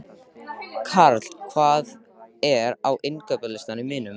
Karl, hvað er á innkaupalistanum mínum?